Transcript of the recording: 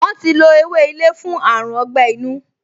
Wọ́n ti lo ewé ilé fún àrùn ọgbẹ́-inú